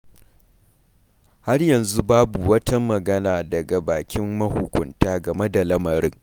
Har yanzu babu wata magana daga bakin mahukunta game da lamarin.